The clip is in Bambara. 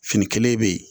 Fini kelen bɛ yen